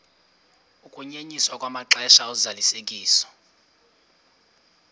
ukunyenyiswa kwamaxesha ozalisekiso